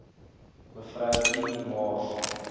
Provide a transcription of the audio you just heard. mev i mars